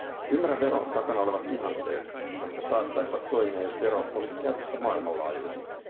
Ymmärrän veron takana olevat ihanteet, jotka saattaisivat toimia, jos vero olisi käytössä maailmanlaajuisesti.